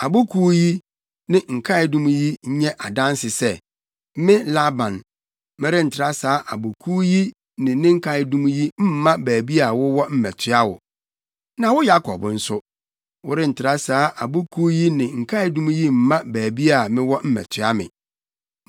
Abo Kuw yi, ne nkaedum yi nyɛ adanse sɛ, me Laban, merentra saa Abo Kuw yi ne nkaedum yi mma baabi a wowɔ mmɛtoa wo. Na wo Yakob nso, worentra saa Abo kuw yi ne nkaedum yi mma baabi a mewɔ mmɛtoa me.